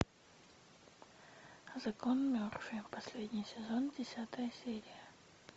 закон мерфи последний сезон десятая серия